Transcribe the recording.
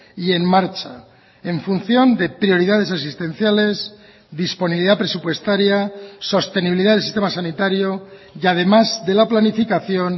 y en marcha en función de prioridades existenciales disponibilidad presupuestaria sostenibilidad del sistema sanitario y además de la planificación